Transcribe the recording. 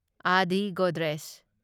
Adi Godrej